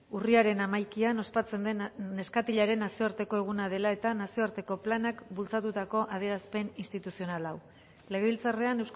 urriaren hamaikaan ospatzen den neskatilaren nazioarteko eguna dela eta nazioarteko planak bultzatutako adierazpen instituzional hau legebiltzarrean